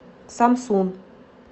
самсун